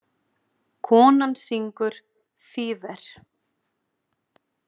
Konan syngur Fever.